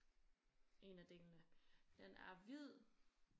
En af delene den er hvid